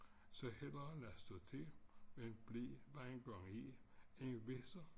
Så hellere lade stå til end blive hvad en gang er en visser